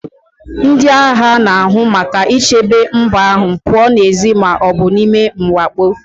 Ndị agha na-ahụ maka ichebe mba ahụ pụọ n'èzí ma ọ bụ n'ime mwakpo